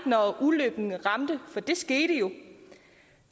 når ulykken ramte for det skete jo